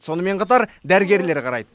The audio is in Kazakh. сонымен қатар дәрігерлер қарайды